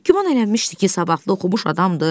Güman elənmişdi ki, savadlı oxumuş adamdır.